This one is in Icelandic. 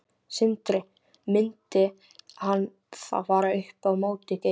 Sindri: Myndi hann þá fara upp á móti Geir?